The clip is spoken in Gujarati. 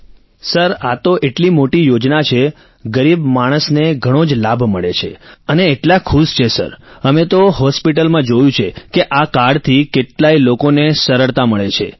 રાજેશ પ્રજાપતિઃ સર આ તો એટલી મોટી યોજના છે ગરીબ માણસને ઘણો જ લાભ મળે છે અને એટલા ખુશ છે સર અમે તો હોસ્પિટલમાં જોયું છે કે આ કાર્ડ થી કેટલાય લોકોને સરળતા મળે છે